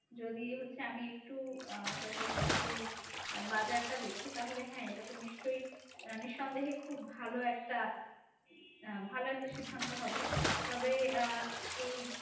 যদি হচ্ছে আমি একটু আহ সরকারি চাকরির বাজার টা দেখি তাহলে হ্যাঁ এটা তো নিশ্চয়ই নিঃসন্দেহে খুব ভালো একটা ভালো একটা সিদ্ধান্ত হবে তবে আহ এই